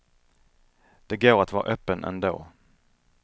Det går att vara öppen ändå.